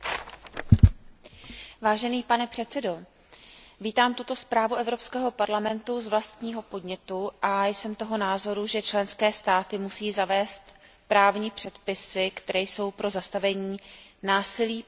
Pane předsedající, vítám tuto zprávu Evropského parlamentu z vlastního podnětu a jsem toho názoru, že členské státy musí zavést právní předpisy, které jsou pro zastavení násilí páchaného na ženách nezbytné.